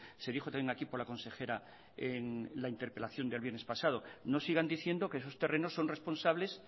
se dijo también aquí por la consejera en la interpelación del viernes pasado no sigan diciendo que esos terrenos son responsables